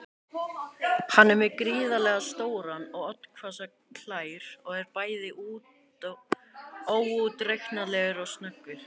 Hann er með gríðarlega stórar og oddhvassar klær og er bæði óútreiknanlegur og snöggur.